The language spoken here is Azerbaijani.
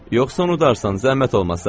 Yoxsa unudarsan, zəhmət olmasa.